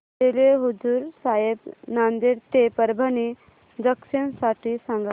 railway Hazur Sahib Nanded ते Parbhani junction साठी सांगा